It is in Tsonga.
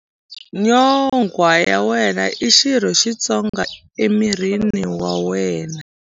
Nyonghwa ya wena i xirho xitsongo emirini wa wena.